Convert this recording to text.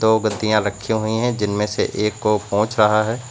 दो गद्दियाँ रखी हुई हैं जिनमें से एक को पोछ रहा है।